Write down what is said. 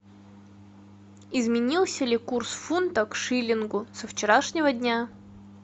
изменился ли курс фунта к шиллингу со вчерашнего дня